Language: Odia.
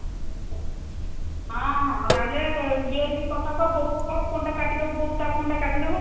ହଁ, ଲାଗିଲେ clear କି କଥା କହ ବୋଉ କୁ କହ phone ଟାକୁ କାଟିଦେବ ବୋଉ ତା phone ଟା କାଟିଦେବ